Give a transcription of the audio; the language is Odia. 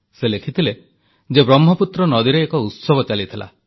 ସେ ଲେଖିଥିଲେ ଯେ ବ୍ରହ୍ମପୁତ୍ର ନଦୀରେ ଏକ ଉତ୍ସବ ଚାଲିଥିଲା